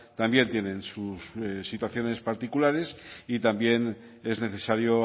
también tienen sus situaciones particulares y también es necesario